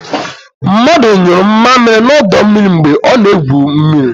Mmadu nyuru mmamịrị n'ọdọ mmiri mgbe ọ na-egwu mmiri.